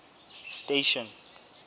station